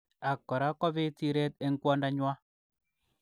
Ak kora kobit siret eng kondo nywa.